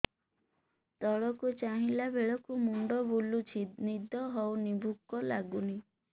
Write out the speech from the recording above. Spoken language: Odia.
ତଳକୁ ଚାହିଁଲା ବେଳକୁ ମୁଣ୍ଡ ବୁଲୁଚି ନିଦ ହଉନି ଭୁକ ଲାଗୁନି